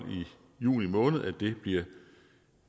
juni måned bliver